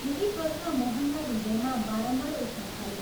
यही प्रश्न मोहनका हृदयमा बारम्बार उठ्न थाल्यो।